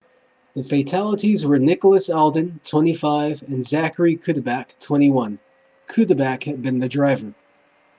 the fatalities were nicholas alden 25 and zachary cuddeback 21 cuddeback had been the driver